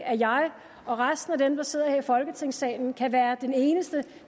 at jeg og resten af dem der sidder her i folketingsalen kan være de eneste